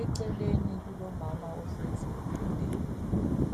Eceleni kulomama ohlezi embhedeni